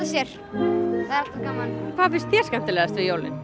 sér hvað finnst þér skemmtilegast við jólin